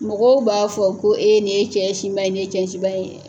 Mɔgɔw b'a fɔ ko e nin ye cɛ sinba ye, nin ye cɛ sinba ye dɛ.